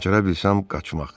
Bacara bilsəm, qaçmaq.